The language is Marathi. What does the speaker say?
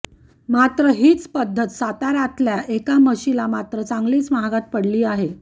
मात्र हीच पद्धत साताऱ्यातल्या एका म्हशीला मात्र चांगलीच महागात पडली आहे